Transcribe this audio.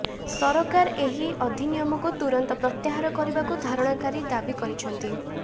ସରକାର ଏହି ଅଧିନିୟମକୁ ତୁରନ୍ତ ପ୍ରତ୍ୟାହାର କରିବାକୁ ଧାରଣାକାରୀ ଦାବି କରିଛନ୍ତି